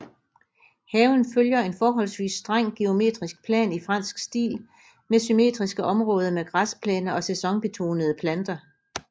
Haven følger en forholdsvis streng geometrisk plan i fransk stil med symmetriske områder med græsplæner og sæsonbetonede planter